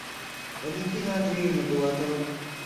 валентина андреевна булатова